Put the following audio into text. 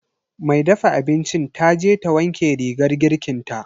mai dafa abincin taje ta wanke rigar girkinta.